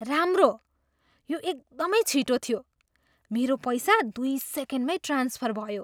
राम्रो। यो एकदमै छिटो थियो। मेरो पैसा दुई सेकेन्डमै ट्रान्सफर भयो।